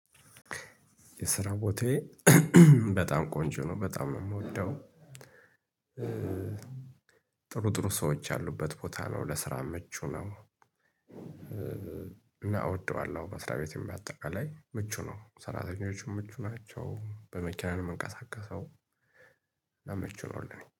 የስራ ቦታዬ በጣም ቆንጆ ነው በጣም ነው የምወደው። ጥሩ ጥሩ ሰዎች ያሉበት ቦታ ነው ለስራ ምቹ ነው። እና እወደዋለሁ መስራ ቤቴም በአጠቃላይ ምቹ ነው ሰራተኞችም ምቹ ናቸው በመኪና ነው የምንቀሳቀሰው። እና ምቹ ነው ለእኔ